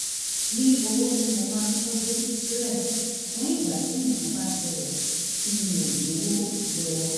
ní owó tí mo máa ń tọ́jú sílẹ̀ fún ìgbà tí nǹkan bá ṣẹlẹ̀ tí mi ò lówó lọ́wọ́